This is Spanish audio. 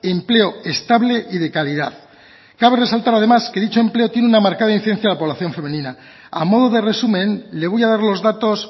empleo estable y de calidad cabe resaltar además que dicho empleo tiene una marcada incidencia en la población femenina a modo de resumen le voy a dar los datos